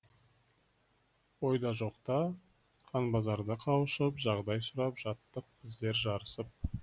ойда жоқта қанбазарда қауышып жағдай сұрап жаттық біздер жарысып